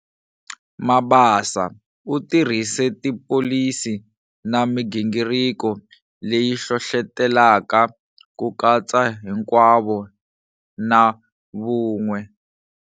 Mabasa u tirhise tipholisi na migingiriko leyi hlohlotelaka ku katsa hinkwavo na vun'we.